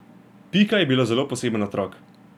Pika je bila zelo poseben otrok.